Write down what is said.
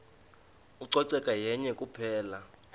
ucoceko yenye kuphela